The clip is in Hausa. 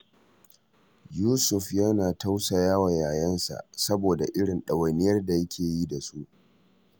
Yusuf yana tausaya wa yayansu, saboda irin ɗawainiyar da yake yi da su